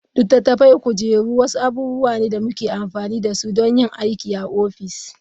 Littattafai, kujeru wasu abubuwa ne da muke amfani da su don yin aiki a ofis.